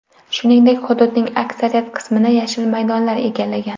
Shuningdek hududning aksariyat qismini yashil maydonlar egallagan.